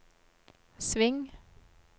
sving